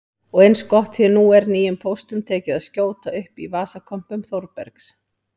Og eins gott því nú er nýjum póstum tekið að skjóta upp í vasakompum Þórbergs